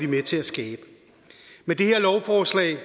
med til at skabe med det her lovforslag